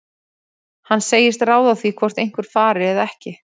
Hann segist ráða því hvort einhver fari eða ekki.